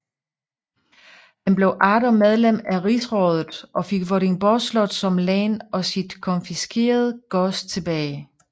Han blev atter medlem af rigsrådet og fik Vordingborg Slot som len og sit konfiskerede gods tilbage